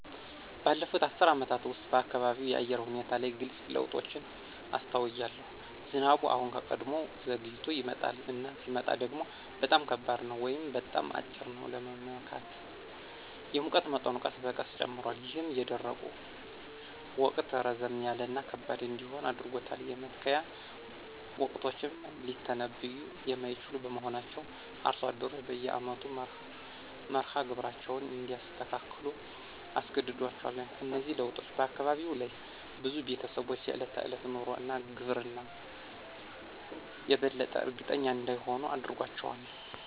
ባለፉት አስርት ዓመታት ውስጥ፣ በአካባቢው የአየር ሁኔታ ላይ ግልጽ ለውጦችን አስተውያለሁ። ዝናቡ አሁን ከቀድሞው ዘግይቶ ይመጣል፣ እና ሲመጣ ደግሞ በጣም ከባድ ነው ወይም በጣም አጭር ነው ለመመካት። የሙቀት መጠኑ ቀስ በቀስ ጨምሯል, ይህም የደረቁ ወቅት ረዘም ያለ እና ከባድ እንዲሆን አድርጎታል. የመትከያ ወቅቶችም ሊተነብዩ የማይችሉ በመሆናቸው አርሶ አደሮች በየአመቱ መርሃ ግብራቸውን እንዲያስተካክሉ አስገድዷቸዋል. እነዚህ ለውጦች በአካባቢው ላሉ ብዙ ቤተሰቦች የዕለት ተዕለት ኑሮ እና ግብርና የበለጠ እርግጠኛ እንዳይሆኑ አድርጓቸዋል።